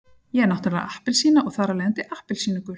Ég er náttúrulega appelsína og þar af leiðandi appelsínugul.